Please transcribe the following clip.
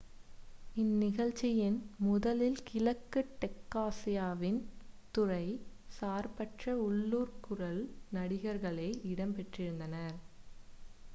இந்நிகழ்ச்சியின் முதலில் கிழக்கு டெக்சாசின் துறை சார்பற்ற உள்ளூர் குரல் நடிகர்களே இடம்பெற்றிருந்தனர்